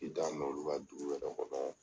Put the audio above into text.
K'i t'a mɛn olu ka dugu yɛrɛ kɔnɔ.